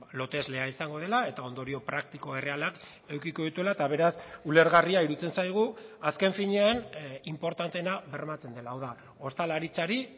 loteslea izango dela eta ondorio praktiko errealak edukiko dituela eta beraz ulergarria iruditzen zaigu azken finean inportanteena bermatzen dela hau da ostalaritzari